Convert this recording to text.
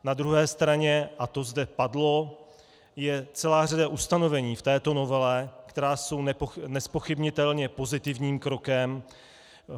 Na druhé straně, a to zde padlo, je celá řada ustanovení v této novele, která jsou nezpochybnitelně pozitivním krokem.